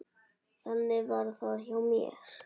Þannig var það hjá mér.